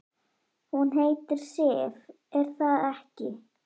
Hún heitir Sif, er það ekki?